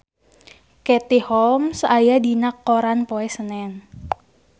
Katie Holmes aya dina koran poe Senen